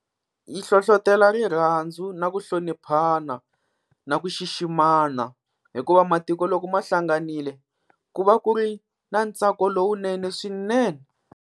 Yi hlohlotela rirhandzu na ku hloniphana na ku xiximana, hikuva matiko loko ma hlanganile ku va ku ri na ntsako lowunene swinene.